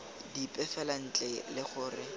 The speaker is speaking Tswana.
dipe fela ntle le gore